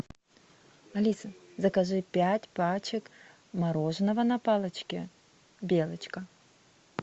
алиса закажи пять пачек мороженого на палочке белочка